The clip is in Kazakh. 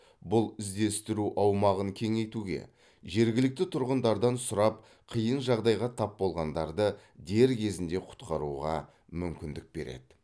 бұл іздестіру аумағын кеңейтуге жергілікті тұрғындардан сұрап қиын жағдайға тап болғандарды дер кезінде құтқаруға мүмкіндік береді